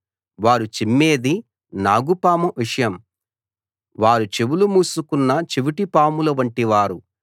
వారు చిమ్మేది నాగుపాము విషం వారు చెవులు మూసుకున్న చెవిటి పాముల వంటివారు